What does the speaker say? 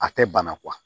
A tɛ bana